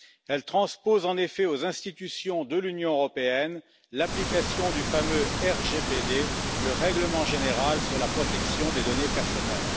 Elle transpose en effet aux institutions de l'Union européenne l'application du fameux RGPD, le règlement général sur la protection des données personnelles.